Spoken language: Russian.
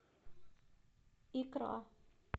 икра